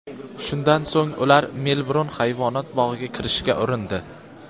Shundan so‘ng ular Melburn hayvonot bog‘iga kirishga urindi.